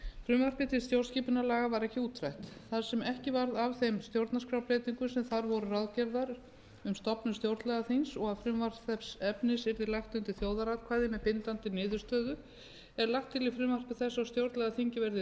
frumvarpið til stjórnarskipunarlaga varð ekki útrætt þar sem ekki varð af þeim stjórnarskrárbreytingum sem þar voru ráðgerðar um stofnun stjórnlagaþings og að frumvarp þess efnis yrði lagt undir þjóðaratkvæði með bindandi niðurstöðu er lagt til í frumvarpi þessu að stjórnlagaþingið verði